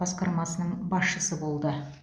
басқармасының басшысы болды